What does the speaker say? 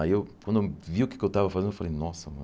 Aí eu quando eu vi o que é que eu tava fazendo, eu falei, nossa, mano...